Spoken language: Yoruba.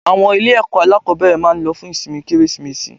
Àwọn ilé ẹ̀kọ́ alákòbẹ̀rẹ̀ máa lọ fún ìsinmi Kérésìmesì.